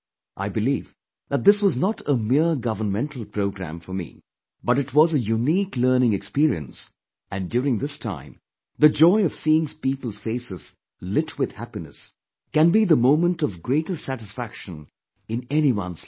I believe that this was not a mere governmental programme for me, but it was a unique learning experience and during this time the joy of seeing people's faces lit with happiness, can be the moment of greatest satisfaction in anyone's life